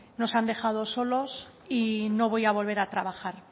nos han dejado solos y no voy a volver a trabajar